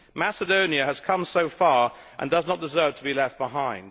Macedonia has come so far and does not deserve to be left behind.